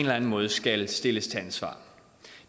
anden måde skal stilles til ansvar